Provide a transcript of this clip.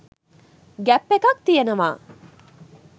gap එකක් තියනව